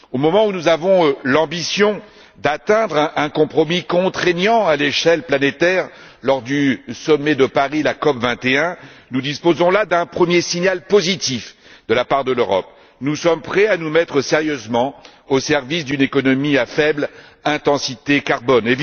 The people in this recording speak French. Au moment où nous avons l'ambition d'atteindre un compromis contraignant à l'échelle planétaire lors du sommet de Paris la COP21 nous disposons là d'un premier signal positif de la part de l'Europe nous sommes prêts à nous mettre sérieusement au service d'une économie à faible intensité de carbone.